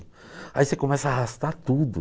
Aí você começa a arrastar tudo.